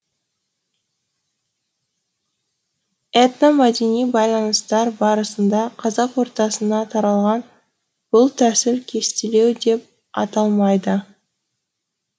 этномәдени байланыстар барысында қазақ ортасына таралған бұл тәсіл кестелеу деп аталмайды